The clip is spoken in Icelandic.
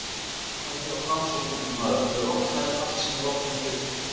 Varaðu þig á Framsókn, ungi maður, hún er rotnari en allt sem rotnað getur.